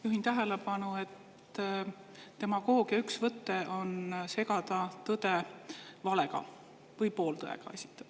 Juhin tähelepanu, et demagoogia üks võte on segada tõde valega või pooltõega.